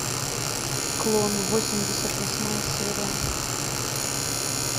клон восемьдесят восьмая серия